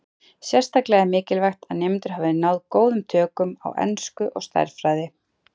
Sérstaklega er mikilvægt að nemendur hafi náð góðum tökum á ensku og stærðfræði.